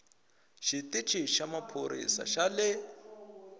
xitichi xa maphorisa xa le